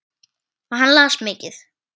Og hann las mikið.